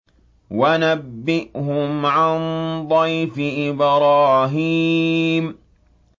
وَنَبِّئْهُمْ عَن ضَيْفِ إِبْرَاهِيمَ